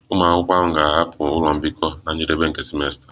Ụmụ akwụkwọ ahụ ga-ahapụ ụlọ mbikọ na njedebe nke simesta